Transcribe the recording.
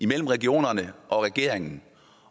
mellem regionerne og regeringen